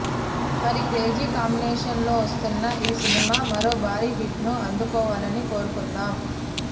మరి crazy combination లో వస్తున్న ఈ సినిమా మరో భారీ హిట్ ను అందుకోవాలని కోరుకుందాం